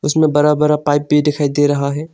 इसमें बड़ा बड़ा पाइप भी दिखाई दे रहा है।